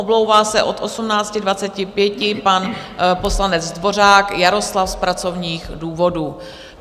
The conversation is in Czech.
Omlouvá se od 18.25 pan poslanec Dvořák Jaroslav z pracovních důvodů.